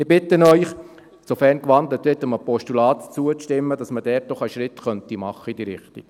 Ich bitte Sie, sofern gewandelt wird, einem Postulat zuzustimmen, damit man einen Schritt in diese Richtung tun könnte.